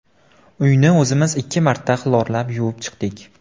Uyni o‘zimiz ikki marta xlorlab yuvib chiqdik.